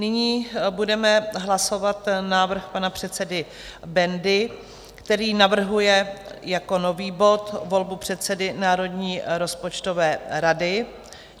Nyní budeme hlasovat návrh pana předsedy Bendy, který navrhuje jako nový bod volbu předsedy Národní rozpočtové rady.